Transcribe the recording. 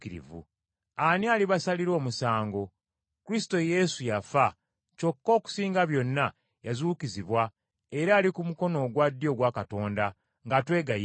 Ani alibasalira omusango? Kristo Yesu yafa, kyokka okusinga byonna yazuukizibwa, era ali ku mukono ogwa ddyo ogwa Katonda, ng’atwegayiririra.